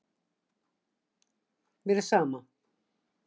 Mér er sama.